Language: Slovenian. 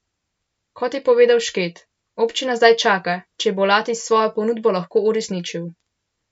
Kot je povedal Šket, občina zdaj čaka, če bo Latis svojo ponudbo lahko uresničil.